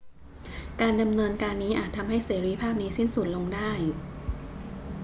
การดำเนินการนี้อาจทำให้เสรีภาพนี้สิ้นสุดลงได้